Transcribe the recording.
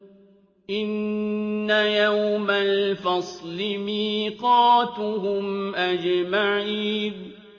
إِنَّ يَوْمَ الْفَصْلِ مِيقَاتُهُمْ أَجْمَعِينَ